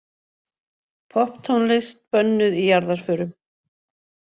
Popptónlist bönnuð í jarðarförum